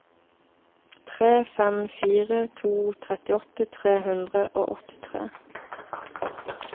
tre fem fire to trettiåtte tre hundre og åttitre